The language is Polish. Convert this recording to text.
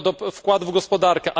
wkładu w gospodarkę.